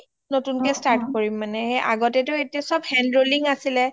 নতুন কে start কৰিম মানে আগতে টো এতিয়া চব handrolling আছিলে